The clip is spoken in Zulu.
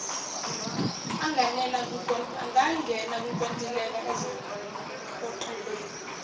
anganena kukontileka ezophoqelela